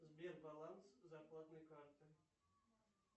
сбер баланс зарплатной карты